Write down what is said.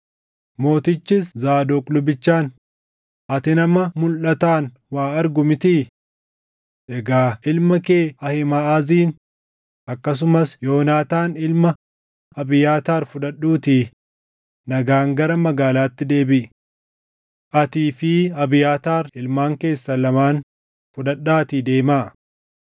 Mootichis Zaadoq lubichaan, “Ati nama mulʼataan waa argu mitii? Egaa ilma kee Ahiimaʼazin akkasumas Yoonaataan ilma Abiyaataar fudhadhuutii nagaan gara magaalaatti deebiʼi. Atii fi Abiyaataar ilmaan keessan lamaan fudhadhaatii deemaa.